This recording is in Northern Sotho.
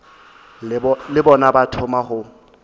le bona ba thoma go